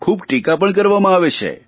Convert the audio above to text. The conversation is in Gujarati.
ખૂબ ટીકા પણ કરવામાં આવે છે